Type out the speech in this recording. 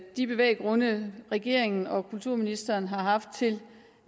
de bevæggrunde regeringen og kulturministeren har haft til